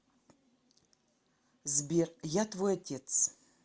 сбер я твой отец